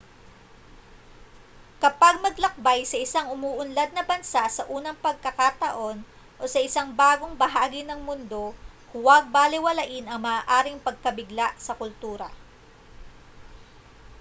kapag maglakbay sa isang umuunlad na bansa sa unang pagkakataon o sa isang bagong bahagi ng mundo huwag balewalain ang maaaring pagkabigla sa kultura